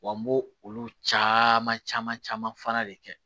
Wa n b'o olu caman caman caman fana de kɛ